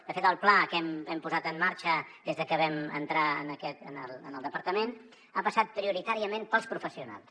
de fet el pla que hem posat en marxa des de que vam entrar en el departament ha passat prioritàriament pels professionals